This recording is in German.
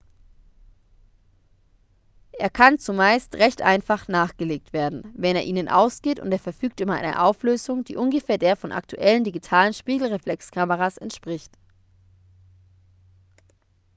er kann zumeist recht einfach nachgelegt werden wenn er ihnen ausgeht und er verfügt über eine auflösung die ungefähr der von aktuellen digitalen spiegelreflexkameras entspricht